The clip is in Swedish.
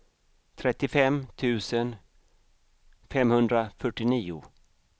trettiofem tusen femhundrafyrtionio